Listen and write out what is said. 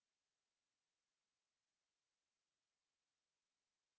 সেটিকে practice odt name save করুন